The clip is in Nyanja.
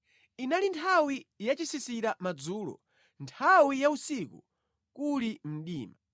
Inali nthawi yachisisira madzulo, nthawi ya usiku, kuli mdima.